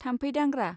थाम्फै दांग्रा